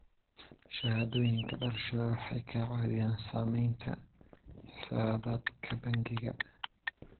Shahaadooyinka dhalashada waxay ka caawiyaan samaynta xisaabaadka bangiga.